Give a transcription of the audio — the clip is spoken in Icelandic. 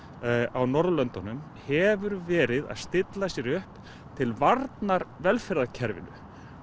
á Norðurlöndunum hefur verið að stilla sér upp til varnar velferðarkerfinu